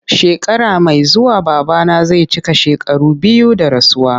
Shekara mai zuwa babana zai cika shekaru biyu da rasuwa.